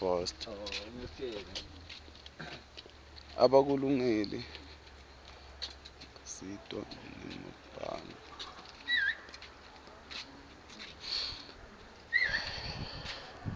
abakulungeli kusitwa ngemabhange